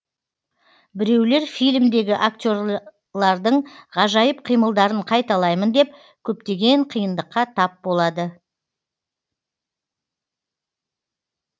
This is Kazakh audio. біреулер фильмдегі актерлардың ғажайып қимылдарын қайталаймын деп көптеген қиындыққа тап болады